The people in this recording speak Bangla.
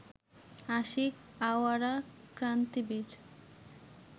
আশিক আওয়ারা ক্রান্তিবীর